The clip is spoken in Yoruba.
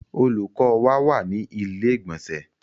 Olùkọ́ wa wà ní ilé ìgbònsẹ̀